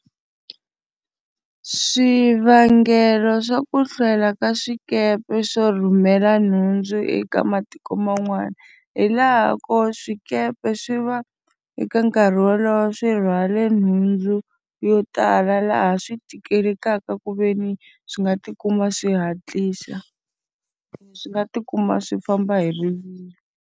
Swivangelo swa ku hlwela ka swikepe swo rhumela nhundzu eka matiko man'wana, hi laha ko swikepe swi va eka nkarhi wolowo swi rhwale nhundzu yo tala laha swi tikelekaka ku ve ni swi nga tikuma swi hatlisa. Swi nga tikuma swi famba hi rivilo.